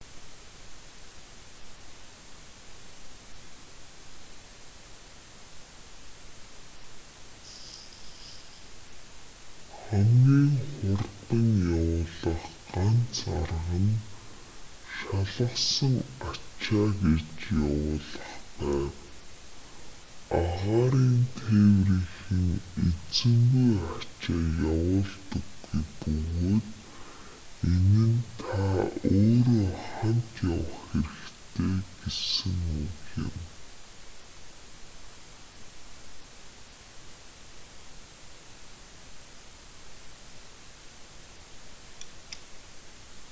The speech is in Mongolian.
хамгийн хурдан явуулах ганц арга нь шалгасан ачаа гэж явуулах байв агаарын тээврийнхэн эзэнгүй ачаа явуулдаггүй бөгөөд энэ нь та өөрөө хамт явах хэрэгтэй гэсэн үг юм